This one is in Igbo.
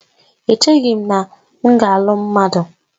Echeghị m na m ga-alụ mmadụ